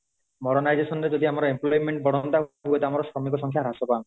modernization ରେ ଯଦି ଆମର employment ବଢନ୍ତା ହୁଅ ତ ଆମର ଶ୍ରମିକ ସଂଖ୍ୟା ହ୍ରାସ ପାଆନ୍ତା